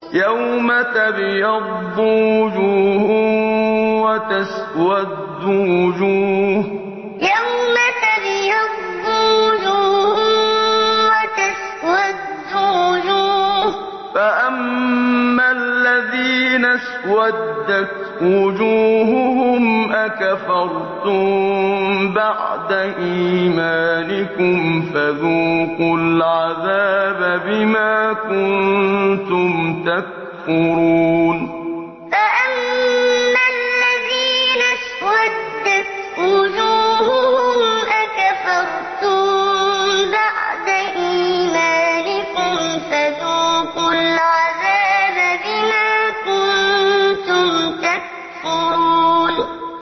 يَوْمَ تَبْيَضُّ وُجُوهٌ وَتَسْوَدُّ وُجُوهٌ ۚ فَأَمَّا الَّذِينَ اسْوَدَّتْ وُجُوهُهُمْ أَكَفَرْتُم بَعْدَ إِيمَانِكُمْ فَذُوقُوا الْعَذَابَ بِمَا كُنتُمْ تَكْفُرُونَ يَوْمَ تَبْيَضُّ وُجُوهٌ وَتَسْوَدُّ وُجُوهٌ ۚ فَأَمَّا الَّذِينَ اسْوَدَّتْ وُجُوهُهُمْ أَكَفَرْتُم بَعْدَ إِيمَانِكُمْ فَذُوقُوا الْعَذَابَ بِمَا كُنتُمْ تَكْفُرُونَ